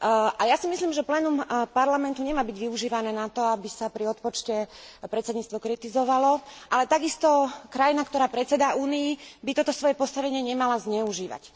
A ja si myslím, že plénum parlamentu nemá byť využívané na to, aby sa pri odpočte predsedníctvo kritizovalo, ale takisto krajina, ktorá predsedá Únii, by toto svoje postavenie nemala zneužívať.